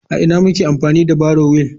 A ina muke amfani da barrow wheel?